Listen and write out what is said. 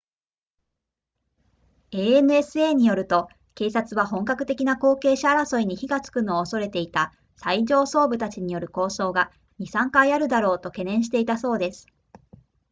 ansa によると警察は本格的な後継者争いに火がつくのを恐れていた最上層部たちによる抗争が 2～3 回あるだろうと懸念していたそうです